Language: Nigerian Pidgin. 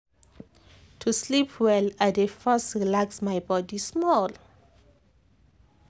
to sleep well i dey first relax my body small.